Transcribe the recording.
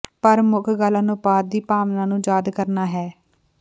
ਪਰ ਮੁੱਖ ਗੱਲ ਅਨੁਪਾਤ ਦੀ ਭਾਵਨਾ ਨੂੰ ਯਾਦ ਕਰਨਾ ਹੈ